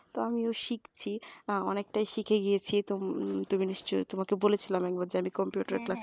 তো আমিও শিখছি অনেকটাই শিখে গেছি তুমি নিশ্চয়ই তোমাকে আমি বলেছিলাম যে আমি computer class এ যাই